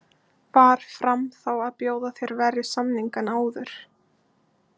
Var Fram þá að bjóða þér verri samning en áður?